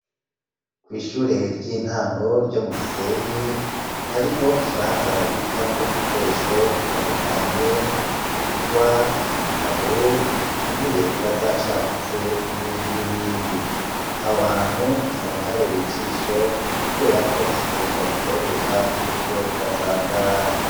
Kw' ishure ry'intango ryo mu Gisenyi, hariho ikibanza babikamwo ibikoresho bitandukanye ingwa, ibitabu intebe ziba zacagutse n'ibindi n'ibindi ,aho hantu usanga habereye ijisho kubera ko bafite ukuntu babitondeka kuburyo bidasanzara.